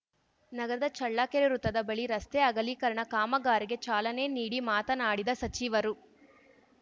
ನಗರದ ಚಳ್ಳಕೆರೆ ವೃತ್ತದ ಬಳಿ ರಸ್ತೆ ಅಗಲೀಕರಣ ಕಾಮಗಾರಿಗೆ ಚಾಲನೆ ನೀಡಿ ಮಾತನಾಡಿದ ಸಚಿವರು